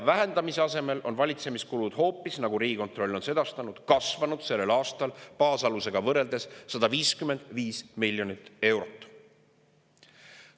Vähendamise asemel on valitsemiskulud, nagu Riigikontroll on sedastanud, baasalusega võrreldes sellel aastal hoopis kasvanud 155 miljonit eurot.